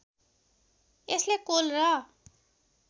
Astley Cole र